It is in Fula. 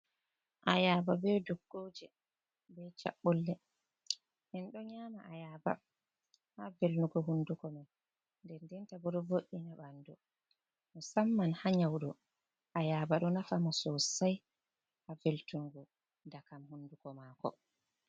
Ayaba be duggoje be chabbolle, en ɗo nyama ayaaba ha velnugo hunduko men, den dentabo ɗo vo'ina bandu, mo samman ha nyawɗo, ayaba do nafa mo sosai ha veltungu dakam hunduko mako.